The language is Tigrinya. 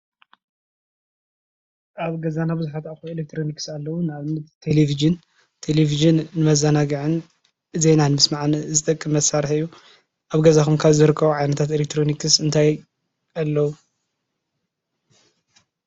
ኣብ ገዛና ብዙሓት ኣቕሓ ኤለክትሮኒክስ ኣለዉ፡፡ ንኣብነት ቴለቪዥን-ቴለቪዥን ንመዘናግዕን ዜና ምስማዕን ዝጠቅም መሳርሒ እዩ፡፡ ኣብ ገዛኹም ካብ ዝርከቡ ዓይነታት ኤለክትሮኒክስ እንታይ ኣለዉ?